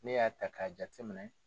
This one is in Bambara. Ne y'a ta k'a jate minɛ